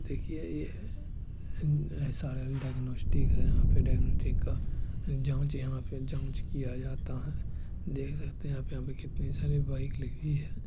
देखिए ये SRL. Diagnostic है यहाँ पे ड़ाएगनटिक जांच यहाँ पे जांच किया जाता है देख सकते है यहाँ पे कितनी सारी बाइक लगी है।